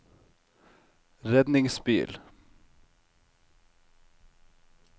redningsbil